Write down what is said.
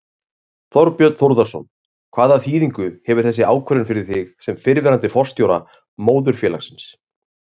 Þorbjörn Þórðarson: Hvaða þýðingu hefur þessi ákvörðun fyrir þig sem fyrrverandi forstjóra móðurfélagsins?